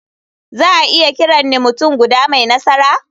Za a iya kiran ni mutum guda mai nasara?